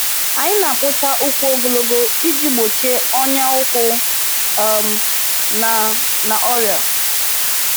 Anyị na-akpụcha ụkwụ ogologo iji gbochie ọnya ụkwụ um na na ọrịa.